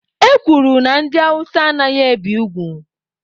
E kwuru na ndị Awụsa anaghị ebi ugwu.